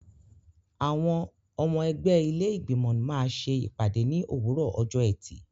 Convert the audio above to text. Àwọn ọmọ ẹgbẹ́ ilé Ìgbìmọ̀ máa ṣe ìpàdé ní òwúrọ̀ ọjọ́ ẹtì.